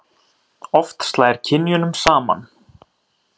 Oft slær kynjunum saman.